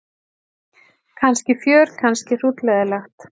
Kannski fjör kannski hrútleiðinlegt.